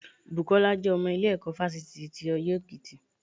Bùkọ́lá jẹ́ ọmọ ilé ẹ̀kọ́ fásitì ti ọyẹ́ èkìtì